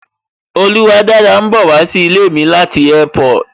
Oluwadára ń bowa sí ilé mi láti Airport